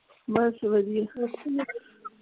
ਬਸ ਵਧੀਆ